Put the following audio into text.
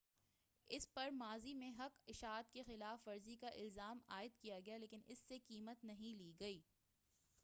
اس پر ماضی میں حق اشاعت کی خلاف ورزی کا الزام عائد کیا گیا ہے لیکن اس سے قیمت نہیں لی گئی